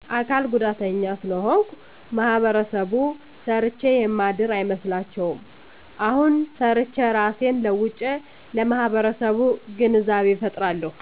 አካል ጉዳተኛ ስለሆንኩ ማህበረሰቡ ሰርቸ የማድር አይመስላቸዉም አሁን ሰርቸ እራሴን ለዉጨለማህበረሰቡ ግንዛቤ ፈጥራለሁ